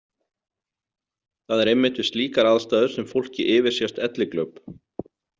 Það er einmitt við slíkar aðstæður sem fólki yfirsést elliglöp.